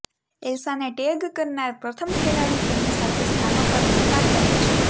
એલ્સાને tag કરનાર પ્રથમ ખેલાડી તેના સાથે સ્થાનો પર વેપાર કરે છે